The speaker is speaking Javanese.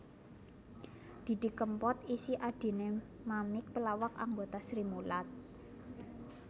Didi Kempot isih adhiné Mamik pelawak anggota Srimulat